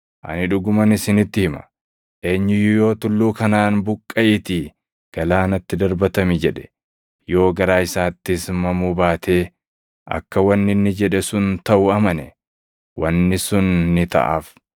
Ani dhuguman isinitti hima; eenyu iyyuu yoo tulluu kanaan ‘Buqqaʼiitii galaanatti darbatami’ jedhe, yoo garaa isaattis mamuu baatee akka wanni inni jedhe sun taʼu amane, wanni sun ni taʼaaf.